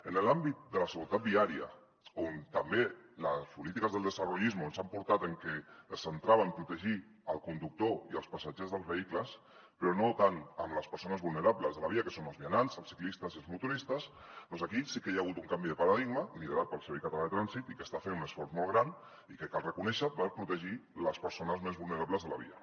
en l’àmbit de la seguretat viària en què també les polítiques del desarrollismo ens han portat a que es centrava en protegir el conductor i els passatgers dels vehicles però no tant les persones vulnerables de la via que són els vianants els ciclistes i els motoristes doncs aquí sí que hi ha hagut un canvi de paradigma liderat pel servei català de trànsit i que està fent un esforç molt gran i que cal reconèixer ho per protegir les persones més vulnerables de la via